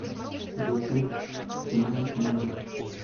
ютуб знает небо